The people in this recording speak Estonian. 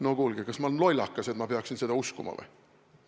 No kuulge, kas ma olen lollakas või, et ma peaksin seda uskuma?